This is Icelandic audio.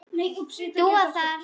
Dúa þar.